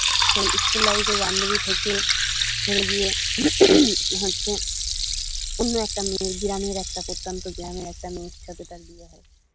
সে school লাইফের বান্ধবি থেকে সরে গিয়ে হচ্ছে অন্যে একটা মেয়ে গ্রামের একটা প্রতন্ত গ্রামের একটা মেয়ের সাথে তার বিয়ে হয়।